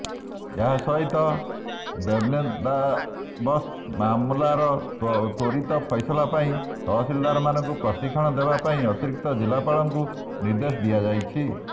ଏଥିସହିତ ବେବନେ୍ଦାବସ୍ତ ମାମଲାର ତ୍ୱରିତ ଫଇସଲା ପାଇଁ ତହସିଲାରମାନଙ୍କୁ ପ୍ରଶିକ୍ଷଣ ଦେବା ପାଇଁ ଅତିରିକ୍ତ ଜିଲ୍ଲାପାଳମାନଙ୍କୁ ନିଦେ୍ର୍ଦଶ ଦିଆଯାଇଥିଲା